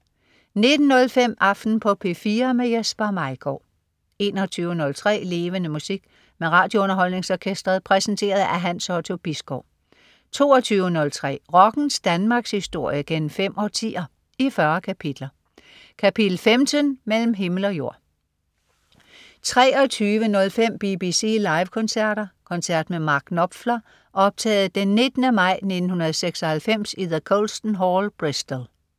19.05 Aften på P4. Jesper Maigaard 21.03 Levende Musik. Med RadioUnderholdningsOrkestret. Præsenteret af Hans Otto Bisgaard 22.03 Rockens Danmarkshistorie gennem fem årtier, i 40 kapitler. Kapitel 15: Mellem himle og jord 23.05 BBC Live koncerter. Koncert med Mark Knopfler optaget den 19. maj 1996 i the Colston Hall, Bristol